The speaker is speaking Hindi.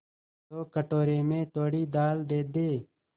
तो कटोरे में थोड़ी दाल दे दे